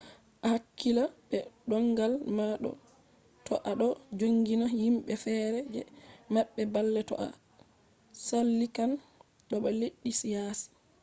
a hakkila be ndongal ma to a ɗo jogina himɓe fere je maɓɓe balle to a tsallikan boda leddi yasi